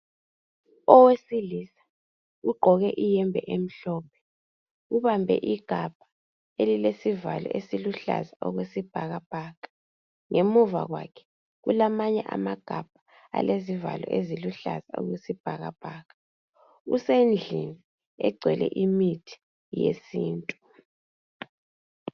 Owesilisa ugqoke ihembe emhlophe ubambe igabha elilesivalo esiluhlaza okwesibhakabhaka. Ngemuva lwakhe kulamanye amagabha alezivalo eziluhlaza okwesibhakabhaka. Usendlini egcwele imithi yesintu.